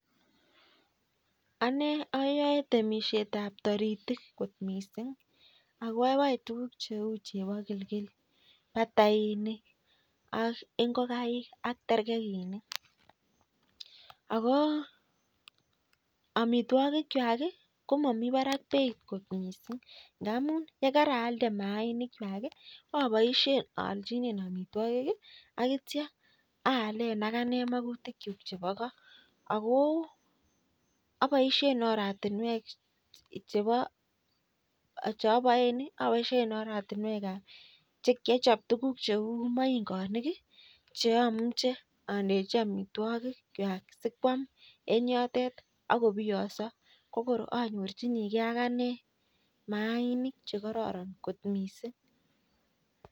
Ane ayoe temishetab toritik kot mising' ako aboe tukuk cheu chebo kilkil batainik ak ngokaik ak terkekinik ako amitwokik chwai komami barak beit kot mising' ndamun nekaraalde mayainik chwai aboishen aolchinen omitwokik akityo aalen akane makutik chun chebo koo ako aboishen oratinwek chebo chaboen aboishen oratinwekab chekiachop tukuk cheu maingonik cheamuche andechi omitwokik kwach sikwam eng' yotet akoniyong'so ko koro anyorchinigei akane maanik chekororon kot mising'